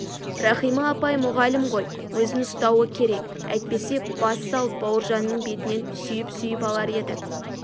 рахима апай мұғалім ғой өзін ұстауы керек әйтпесе бас салып бауыржанның бетінен сүйіп-сүйіп алар еді